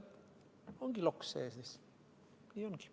Ongi loks sees, nii ongi.